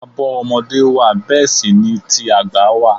Àbọ̀ ọmọdé wà bẹẹ sì ni ti àgbà wà.